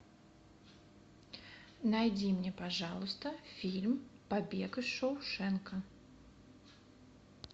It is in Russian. найди мне пожалуйста фильм побег из шоушенка